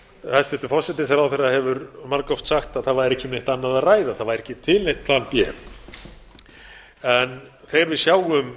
hæstvirtur forsætisráðherra hefur margoft sagt að það væri ekki um neitt annað að ræða það væri ekki til neitt plan b en þegar við sjáum